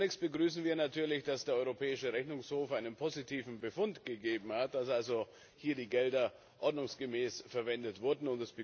Zunächst begrüßen wir natürlich, dass der Europäische Rechnungshof einen positiven Befund gegeben hat, dass also hier die Gelder ordnungsgemäß verwendet wurden.